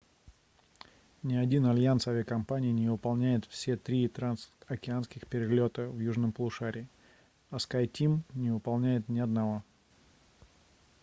ни один альянс авиакомпаний не выполняет все три трансокеанских перелета в южном полушарии а skyteam не выполняет ни одного